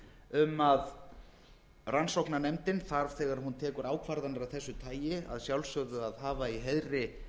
um að rannsóknarnefndin þarf þegar hún tekur ákvarðanir af þessu tagi að sjálfsögðu að hafa í heiðri